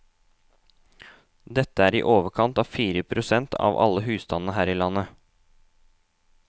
Dette er i overkant av fire prosent av alle husstandene her i landet.